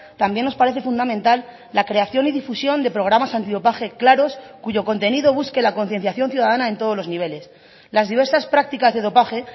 también nos parece fundamental la creación y difusión de programas antidopaje claros cuyo contenido busque la concienciación ciudadana en todos los niveles las diversas prácticas de dopaje